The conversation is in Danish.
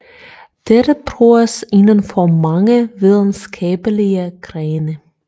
Dette bruges inden for mange videnskabelige grene